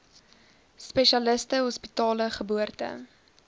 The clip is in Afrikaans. spesialiste hospitale geboorte